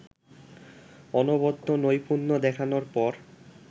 অনবদ্য নৈপূণ্য দেখানোর পর